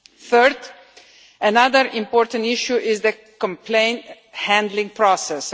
Thirdly, another important issue is the complaint handling process.